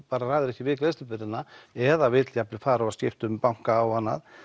ræður ekki við greiðslubyrðina eða vill jafn vel fara og skipta um banka og annað